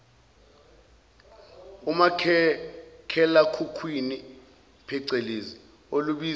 umakhalekhukhwini pecelezi olubizwa